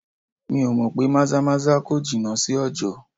Mi ò mọ̀ pé maza-maza kò jìnà sí ọjọ.